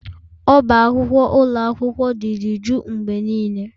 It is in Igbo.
Ọbá akwụkwọ ụlọ akwụkwọ dị dị juu mgbe niile